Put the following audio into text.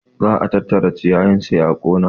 Za a tattara ciyayin sai a ƙona